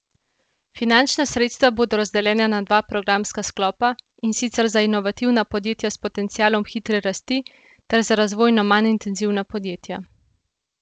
Finančna sredstva bodo razdeljena na dva programska sklopa, in sicer za inovativna podjetja s potencialom hitre rasti ter za razvojno manj intenzivna podjetja.